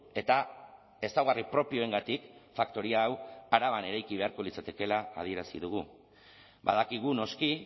eta ezaugarri propioengatik faktoria hau araban eraiki beharko litzatekeela adierazi dugu badakigu noski